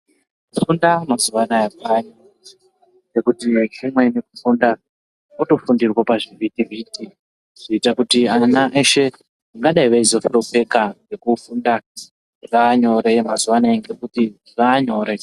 Kufunda mazuwa anaya kwanyore ngekuti kumweni kufunda kwotofundirwe pazvivhitivhiti zvoite kuti vana veshe vangadai veizohlupheka ngekufunda zvaanyore mazuwa anaya ngekuti zvaanyore.